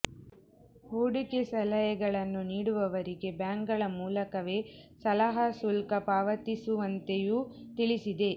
ಹೂಡಿಕೆ ಸಲಹೆಗಳನ್ನು ನೀಡುವವರಿಗೆ ಬ್ಯಾಂಕ್ಗಳ ಮೂಲಕವೇ ಸಲಹಾ ಶುಲ್ಕ ಪಾವತಿಸುವಂತೆಯೂ ತಿಳಿಸಿದೆ